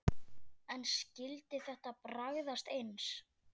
En skyldi þetta bragðast eins?